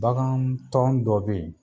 BaKan tɔn dɔ be yen